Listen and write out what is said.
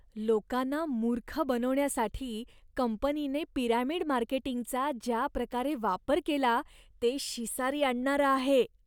लोकांना मूर्ख बनवण्यासाठी कंपनीने पिरॅमिड मार्केटींगचा ज्या प्रकारे वापर केला ते शिसारी आणणारं आहे.